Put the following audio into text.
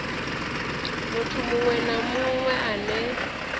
muthu muṅwe na muṅwe ane